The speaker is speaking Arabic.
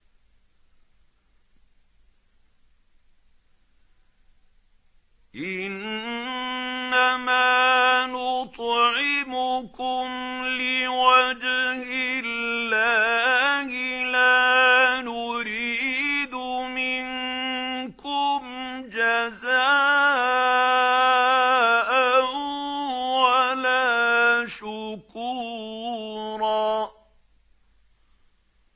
إِنَّمَا نُطْعِمُكُمْ لِوَجْهِ اللَّهِ لَا نُرِيدُ مِنكُمْ جَزَاءً وَلَا شُكُورًا